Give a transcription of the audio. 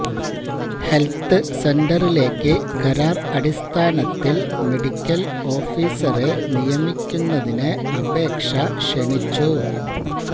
health സെന്ററിലേക്ക് കരാര് അടിസ്ഥാനത്തില് മെഡിക്കല് ഓഫിസറെ നിയമിക്കുന്നതിന് അപേക്ഷ ക്ഷണിച്ചു